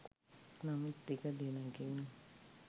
නමුත් ටික දිනකින්